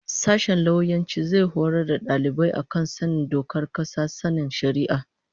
Sashen lauyanci zai horar da dalibai a kan sanin dokar kasa da sanin shari'a